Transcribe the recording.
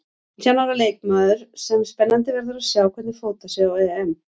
Nítján ára leikmaður sem spennandi verður að sjá hvernig fótar sig á EM.